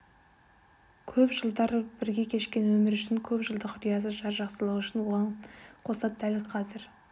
көп жылдар бірге кешкен өмір үшін көп жылдық риясыз жар жақсылығы үшін оған қоса дәл қазір